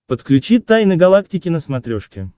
подключи тайны галактики на смотрешке